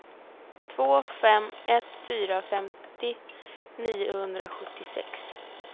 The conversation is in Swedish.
två fem ett fyra femtio niohundrasjuttiosex